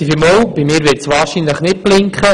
Bei mir wird es wahrscheinlich nicht blinken.